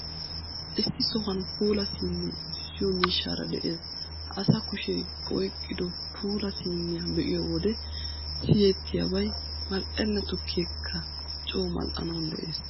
Issi sohuwan puula siinee uttissiyoo miishshaara de'ees. Ha asa kushee oyqqido puulaa siiniyaa be'iyoo wode siyettiyabay mal''enna tukkeekka coo mal''anawu de'ees.